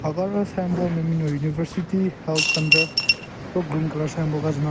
Aka aro symbol nme binyon university health center ro green colour symbol ka --